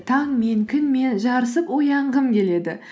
таңмен күнмен жарысып оянғым келеді